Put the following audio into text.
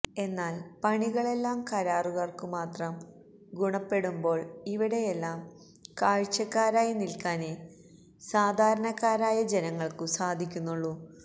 എന്നാല് പണികളെല്ലാം കരാറുകാര്ക്കുമാത്രം ഗുണപ്പെടുമ്പോള് ഇവിടെയെല്ലാം കാഴ്ചക്കാരായി നില്ക്കാനേ സാധാരണക്കാരായ ജനങ്ങള്ക്കു സാധിക്കുന്നുള്ളൂ